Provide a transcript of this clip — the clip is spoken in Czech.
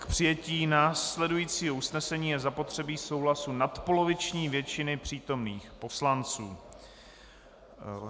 K přijetí následujícího usnesení je zapotřebí souhlasu nadpoloviční většiny přítomných poslanců.